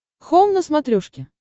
хоум на смотрешке